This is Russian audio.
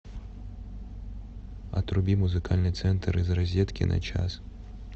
отруби музыкальный центр из розетки на час